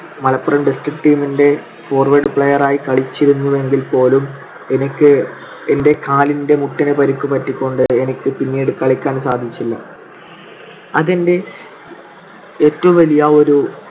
Malappuram district team ന്റെ forward player ആയി കളിച്ചിരുന്നുവെങ്കിൽപോലും ഇടയ്ക്ക് എൻ്റെ കാലിന്റെ മുട്ടിന് പരിക്ക് പറ്റിക്കൊണ്ടു എനിക്ക് പിന്നീട് കളിയ്ക്കാൻ സാധിച്ചില്ല. അത് എൻ്റെ ഏറ്റവും വലിയ ഒരു